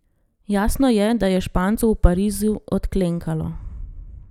Jasno je, da je Špancu v Parizu odklenkalo.